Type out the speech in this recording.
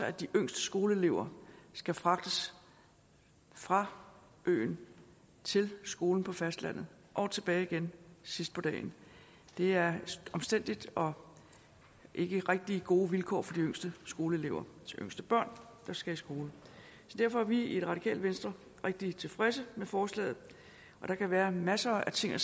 at de yngste skoleelever skal fragtes fra øen til skolen på fastlandet og tilbage igen sidst på dagen det er omstændeligt og ikke rigtig gode vilkår for de yngste skoleelever de yngste børn der skal i skole så derfor er vi i radikale venstre rigtig tilfredse med forslaget der kan være masser af ting at